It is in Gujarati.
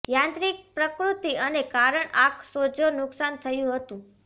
યાંત્રિક પ્રકૃતિ અને કારણ આંખ સોજો નુકસાન થયું હતું